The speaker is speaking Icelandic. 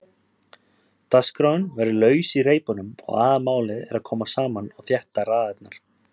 Dagskráin verður laus í reipunum og aðalmálið að koma saman og þétta raðirnar.